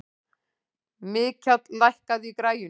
Mikjáll, lækkaðu í græjunum.